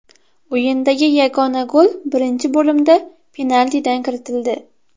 O‘yindagi yagona gol birinchi bo‘limda penaltidan kiritildi.